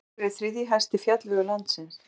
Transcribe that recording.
Kaldidalur er þriðji hæsti fjallvegur landsins.